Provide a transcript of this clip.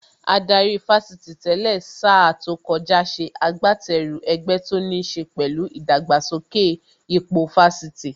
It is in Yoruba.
Adarí Fásitì tẹ́lẹ̀ sa tó kọjá ṣe agbateru ẹgbẹ́ tó níṣe pẹ̀lú ìdàgbàsókè ipò Fásitì